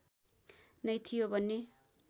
नै थियो भन्ने